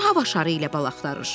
Kim hava şarı ilə bal axtarır?